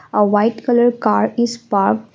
a white colour car is parked.